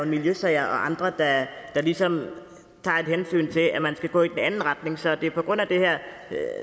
miljøsager og andre sager der ligesom tager et hensyn til at man skal gå i den anden retning så det er på grund af den her